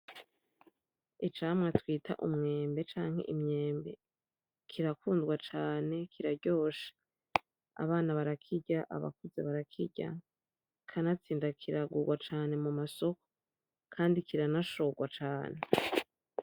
Icamwa twita umwembe canke imyembe , kirakundwa cane kiraryoshe , abana barakirya abakuze barakirya , kanatsinda kiragurwa cane mumasoko kandi kiranashogwa cane .